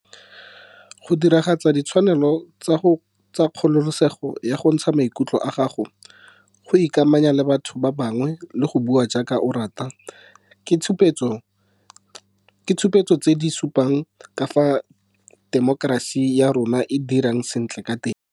Go diragatsa ditshwanelo tsa kgololesego ya go ntsha maikutlo a gago, go ikamanya le batho ba bangwe le go bua jaaka o rata ke ditshupetso tse di supang ka fao temokerasi ya rona e dirang sentle ka teng.